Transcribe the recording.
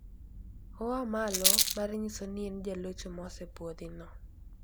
Oa malo mar nyiso ni en jalocho ma osepuodhi no.